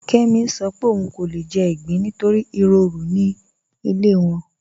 Kẹmì ń sọ̀ pé ọún kò lè jẹ̀ igbín nítorí iròrù ni ilẹ̀ wọn.